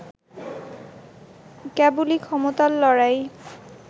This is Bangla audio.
কেবলই ক্ষমতার লড়াই